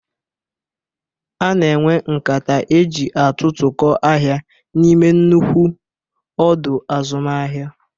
Ana enwe nkata eji atụtụkọ ahịa n'ime nnukwu ọdọ azụmahịa.